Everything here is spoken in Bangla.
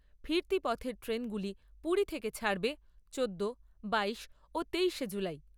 ফিরতি পথের ট্রেনগুলি পুরী থেকে ছাড়বে চোদ্দো, বাইশ ও তেইশে জুলাই।